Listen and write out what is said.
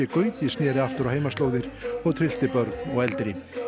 Gauti sneri aftur á heimaslóðir og tryllti börn og eldri